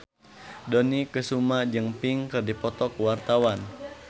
Dony Kesuma jeung Pink keur dipoto ku wartawan